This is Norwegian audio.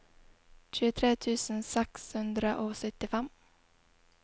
tjuetre tusen seks hundre og syttifem